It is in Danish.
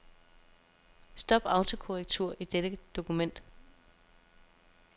Stop autokorrektur i dette dokument.